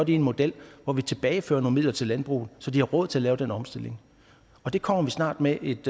i en model hvor vi tilbagefører nogle midler til landbruget så de har råd til at lave den omstilling og det kommer vi snart med et